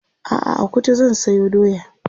a'a a Kuta zan sayo doya